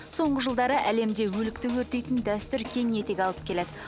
соңғы жылдары әлемде өлікті өртейтін дәстүр кең етек алып келеді